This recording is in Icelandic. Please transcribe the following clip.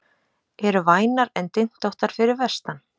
Eru vænar en dyntóttar fyrir vestan